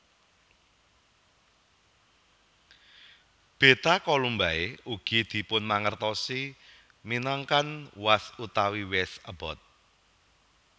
Beta Columbae ugi dipunmangertosi minangkan Wazn utawi Wezn abot